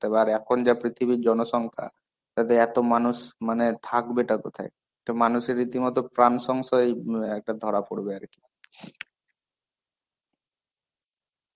আর এখন যা পৃথিবীর জনসংখা, তাতে এত মানুষ মানে থাকবে টা কোথায়? তো মানুষের রীতিমতো প্রাণসংশয় এই একটা ধরা পরবে আর কি.